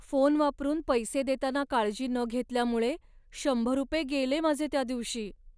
Phone वापरून पैसे देताना काळजी न घेतल्यामुळे शंभर रुपये गेले माझे त्या दिवशी.